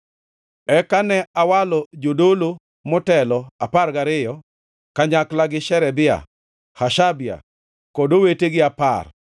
Eka ne awalo jodolo motelo apar gariyo, kanyakla gi Sherebia, Hashabia kod owetegi apar,